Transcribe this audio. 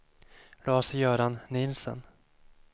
Lars-Göran Nielsen